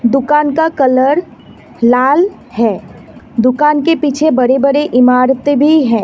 दुकान का कलर लाल है दुकान के पीछे बड़े बड़े इमारतें भी है।